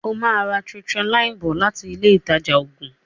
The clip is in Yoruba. o má rà tetracycline bó lati Ilé ìtajà oògùn.